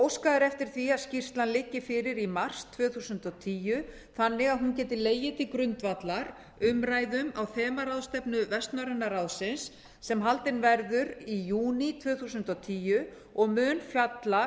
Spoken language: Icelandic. óskað er eftir því að skýrslan liggi fyrir í mars tvö þúsund og tíu þannig að hún geti legið til grundvallar umræðum á þemaráðstefnu vestnorræna ráðsins sem haldin verður í júní tvö þúsund og tíu og mun fjalla